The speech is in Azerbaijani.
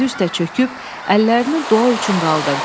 və dizi üstə çöküb əllərini dua üçün qaldırdı.